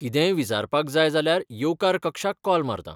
कितेंय विचारपाक जाय जाल्यार येवकार कक्षाक कॉल मारतां.